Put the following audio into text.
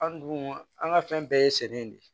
An dun an ka fɛn bɛɛ ye sɛnɛ de ye